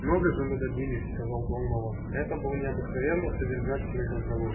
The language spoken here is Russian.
много же мы добились сказал донован это был необыкновенно содержательный разговор